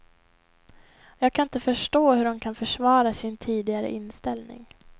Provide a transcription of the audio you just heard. Jag kan inte förstå hur de kan försvara sin tidigare inställning.